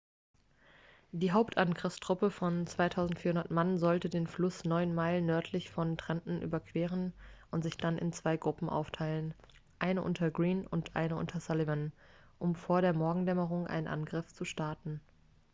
die hauptangriffstruppe von 2.400 mann sollte den fluss neun meilen nördlich von trenton überqueren und sich dann in zwei gruppen aufteilen eine unter greene und eine unter sullivan um vor der morgendämmerung einen angriff zu starten